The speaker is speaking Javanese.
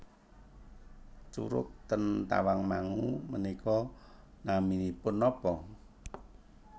Curug ten Tawangmangu menika naminipun nopo?